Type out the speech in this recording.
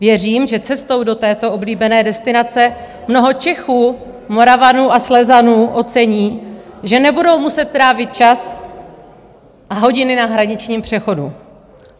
Věřím, že cestou do této oblíbené destinace mnoho Čechů, Moravanů a Slezanů ocení, že nebudou muset trávit čas a hodiny na hraničním přechodu.